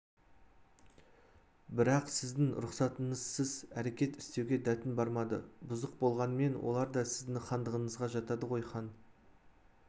бірақ сіздің рұқсатыңызсыз әрекет істеуге дәтім бармады бұзық болғанмен олар да сіздің хандығыңызға жатады ғой хан